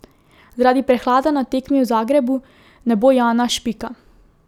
Zaradi prehlada na tekmi v Zagrebu ne bo Jana Špika.